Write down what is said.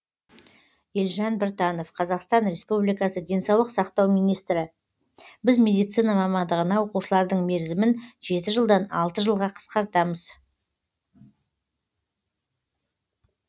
елжан біртанов қазақстан республикасының денсаулық сақтау министрі біз медицина мамандығына оқушылардың мерзімін жеті жылдан алты жылға қысқартамыз